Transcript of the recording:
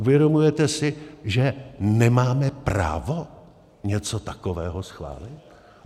Uvědomujete si, že nemáme právo něco takového schválit?